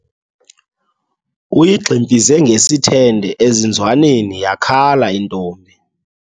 Uyigximfize ngesithende ezinzwaneni yakhala intombi.